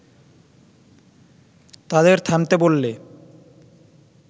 তাদের থামতে বললে